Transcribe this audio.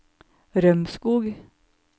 Rømskog